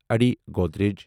أڈی Godrej